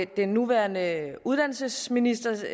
den nuværende uddannelsesminister